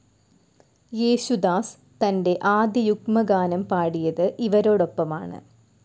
യേശുദാസ് തൻ്റെ ആദ്യ യുഗ്മഗാനം പാടിയത് ഇവരോടൊപ്പമാണ്.